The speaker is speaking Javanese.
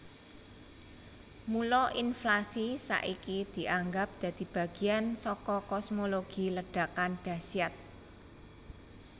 Mula inflasi saiki dianggap dadi bagian saka kosmologi Ledakan Dahsyat